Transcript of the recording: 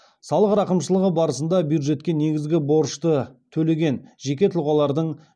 салық рақымшылығы барысында бюджетке негізгі борышты төлеген жеке тұлғалардың